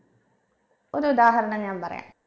ഒരുദാഹരണം ഞാൻ പറയാം